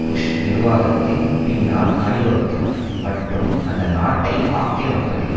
push நிர்வாகத்தின் பின்னால் அணி வகுத்தார் மற்றும் அந்த நாட்டை ஆக்கிரமிப்பதில்